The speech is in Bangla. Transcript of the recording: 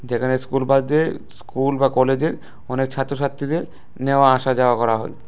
যেখানে স্কুল বাসের স্কুল বা কলেজের অনেক ছাত্রছাত্রীদের নেওয়া আসা যাওয়া করা হয়।